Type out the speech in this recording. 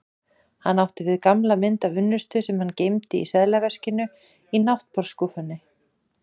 Hann átti við gamla mynd af unnustu sem hann geymdi í seðlaveskinu í náttborðsskúffunni.